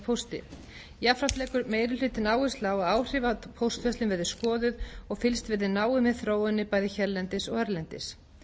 pósti jafnframt leggur meiri hlutinn áherslu á að áhrif af póstverslun verði skoðuð og fylgst verði náið með þróuninni bæði hérlendis og erlendis